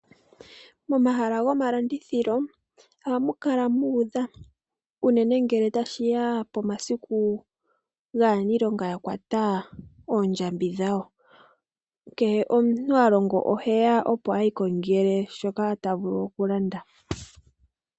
Momahala gomalandithilo ohamu kala muudha unene ngele tashi ya pomasiku aaniilonga yakwata oondjambi dhawo. Kehe omuntu halongo oheya opo iikongele shoka ta vulu okulanda.